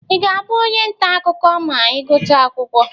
Ị ga-abụ onye nta akụkọ ma ị gụchaa akwụkwọ?